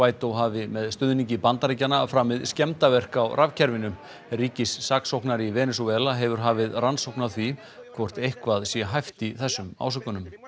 guaidó hafi með stuðningi Bandaríkjanna framið skemmdarverk á rafkerfinu ríkissaksóknari í Venesúela hefur hafið rannsókn á því hvort eitthvað sé hæft í þessum ásökunum